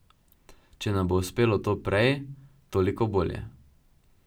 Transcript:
Če nam bo uspelo to prej, toliko bolje.